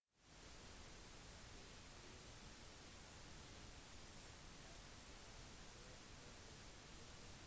i tillegg til knusende is har ekstreme værforhold vært en